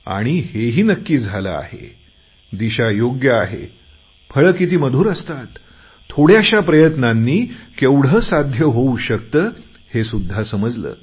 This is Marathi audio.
आणि हेही नक्की झाले आहे दिशा योग्य आहे फळे किती मधुर असतात थोड्याशा प्रयत्नांनी केवढं साध्य होऊ शकते हे सुद्धा समजले